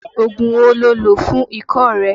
Ògùn wo lo lò fún ikọ́ rẹ?